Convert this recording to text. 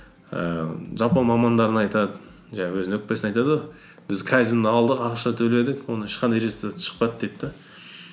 ііі жалпы мамандарына айтады жаңағы өз өкпесін айтады ғой біз кайдзен алдық ақша төледік оның ешқандай результаты шықпады дейді де